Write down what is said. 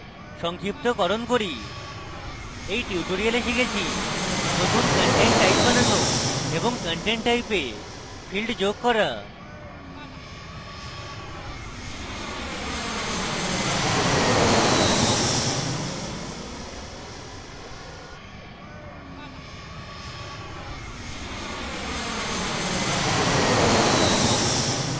সংক্ষিপ্তকরণ করি in tutorial আমরা শিখেছি নতুন content type বানানো এবং content type a fields যোগ করা